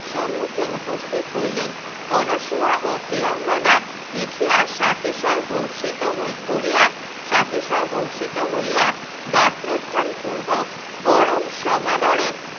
সমুখ্যে উপস্থিত হইলেন অনশোয়া ও প্রিয়ংবদা দেখিয়া সাতিশয় হরষিত কোরিয়া সাতিশয় হরষিত হইয়া গাত্রোত্থান পূর্বক পরম সমাদরে